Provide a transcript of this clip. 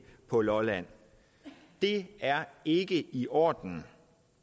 på lolland det er ikke i orden